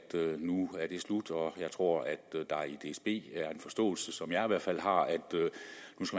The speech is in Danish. det slut og jeg tror at der i dsb er den forståelse som jeg i hvert fald har